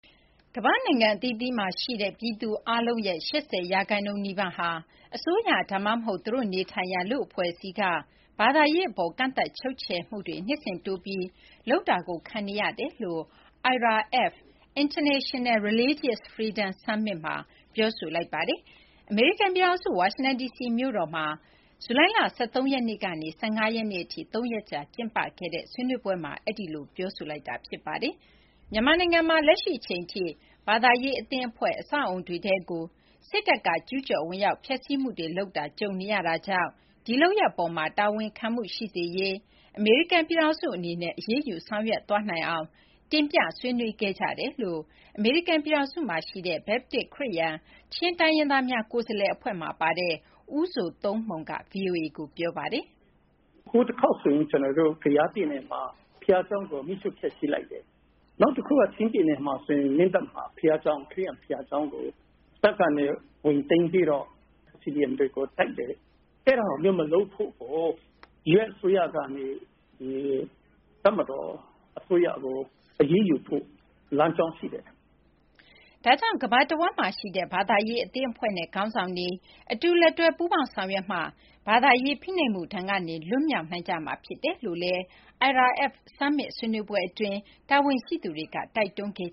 ကမ္ဘာ့နိုင်ငံအသီးသီးမှာရှိတဲ့ ပြည်သူအားလုံးရဲ့ ၈၀ ရာခိုင်နှုန်းနီးပါးဟာ အစိုးရ ဒါမှမဟုတ် သူတို့နေထိုင်ရာ လူ့အဖွဲ့အစည်းက ဘာသာရေးအပေါ် ကန့်သတ်ချုပ်ချယ်မှုတွေ နှစ်စဉ် တိုးပြီး လုပ်လာတာကို ခံနေရတယ်လို့ IRF အဖွဲ့က ပြောကြားလိုက်ပါတယ်။ အမေရိကန်ပြည်ထောင်စု ဝါရှင်တန်ဒီစီမြို့မှာ ဇူလိုင်လ ၁၃ ရက်နေ့ကနေ ၁၅ ရက်နေ့အထိ ၃ ရက်ကြာ ကျင်းပတဲ့ IRF (International Religious Freedom) Summit ဆွေးနွေးပွဲမှာ အဲဒီလို ပြောဆိုလိုက်ကြတာပါ။ မြန်မာနိုင်ငံမှာလည်း လက်ရှိအချိန်ထိ ဘာသာရေးအသင်းအဖွဲ့၊ အဆောက်အဦတွေထဲကို စစ်တပ်က ကျူးကျော်ဝင်ရောက် ဖျက်ဆီးမှုတွေ လုပ်တာ ကြုံနေရတာကြောင့် ဒီလုပ်ရပ်အပေါ်မှာ တာဝန်ခံမှုရှိစေရေး အမေရိကန်ပြည်ထောင်စု အနေနဲ့ အရေးယူ ဆောင်ရွက်သွားနိုင်အောင် တင်ပြဆွေးနွေးခဲ့ကြတယ်လို့ အမေရိကန်ပြည်ထောင်စုမှာရှိတဲ့ ဘက်ပတစ်-ခရစ်ယာန်-ချင်းတိုင်းရင်းသားများ ကိုယ်စားလှယ်အဖွဲ့ (Chin Advocacy Committee, Chin Baptist Churches of America) မှာပါတဲ့ ဦးဇိုသုန်းမှုန်က ဗွီအိုအေကို ပြောပါတယ်။ “ဟိုတခေါက်ဆိုရင် ကယားပြည်နယ်မှာ ဘုရားကျောင်းကို မီးရှို့ဖျက်ဆီးလိုက်တယ်။ နောက်တခုက ချင်းပြည်နယ် မင်းတပ်မှာ ခရစ်ယာန်ဘုရားကျောင်းကို ပိုက်ဆံတွေ ဝင်သိမ်းပြီးတော့ CDM တွေကို တိုက်တယ်။ အဲဒါမျိုးကို မလုပ်ဖို့ US အစိုးရကနေ တပ်မတော်အစိုးရကို အရေးယူဖို့ လမ်းကြောင်းရှိတယ်။” ဒါကြောင့် ကမ္ဘာတဝန်းမှာရှိတဲ့ ဘာသာရေးအသင်းအဖွဲ့နဲ့ ခေါင်းဆောင်တွေ အတူလက်တွဲ ပူးပေါင်းဆောင်ရွက်မှသာ ဘာသာရေးဖိနှိပ်မှု ဒဏ်ကနေ လွတ်မြောက်နိုင်ကြမှာ ဖြစ်တယ်လို့လည်း IRF Summit ဆွေးနွေးပွဲအတွင်း တာဝန်ရှိသူတွေက တိုက်တွန်းခဲ့